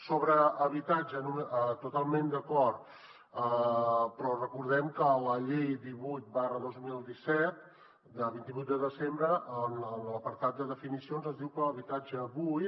sobre habitatge totalment d’acord però recordem que la llei divuit dos mil disset de vint vuit de desembre en l’apartat de definicions es diu que l’habitatge buit